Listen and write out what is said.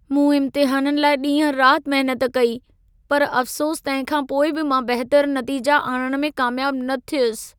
मूं इम्तिहाननि लाइ ॾींहं-राति महिनत कई, पर अफ़्सोस तंहिं खां पोइ बि मां बहितरु नतीजा आणण में कामयाबु न थियुसि।